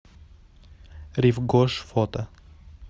рив гош фото